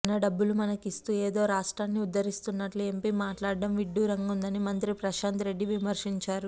మన డబ్బులు మనకు ఇస్తూ ఏదో రాష్ట్రాన్ని ఉద్దరిస్తున్నట్లు ఎంపీ మాట్లాడటం విడ్డూరంగా వుందని మంత్రి ప్రశాంత్ రెడ్డి విమర్శించారు